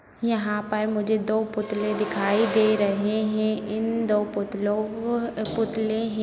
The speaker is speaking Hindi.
यहाँ पर मुझे दो पुतले दिखाई दे रहे है इन दो पुतलों पुतले है।